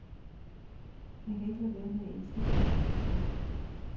Man kan ikke lade være med at elske disse mennesker.